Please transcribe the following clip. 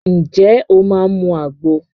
Ǹjẹ́ o máa mu àgbo?